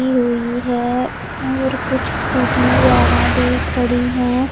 दी हुई है और कुछ स्कूटी वगैरह भी खड़ी हैं।